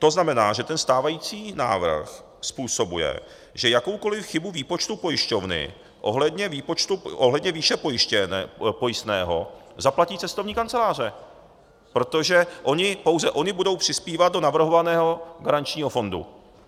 To znamená, že ten stávající návrh způsobuje, že jakoukoli chybu výpočtu pojišťovny ohledně výše pojistného zaplatí cestovní kanceláře, protože pouze ony budou přispívat do navrhovaného garančního fondu.